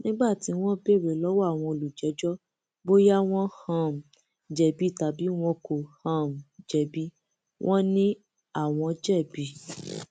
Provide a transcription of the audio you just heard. nígbà tí wọn béèrè lọwọ àwọn olùjẹjọ bóyá wọn um jẹbi tàbí wọn kò um jẹbi wọn ni àwọn jẹbi